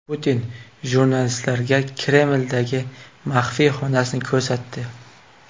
Putin jurnalistlarga Kremldagi maxfiy xonasini ko‘rsatdi.